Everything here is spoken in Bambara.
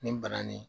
Nin bananin